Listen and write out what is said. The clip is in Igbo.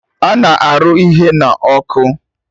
Ana arụ ihe n'ọkụ